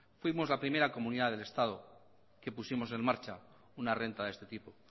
fuimos la primera comunidad del estado que pusimos en marcha una renta de este tipo